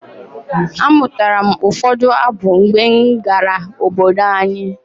Amụtara m ụfọdụ abụ mgbe m gara obodo anyi.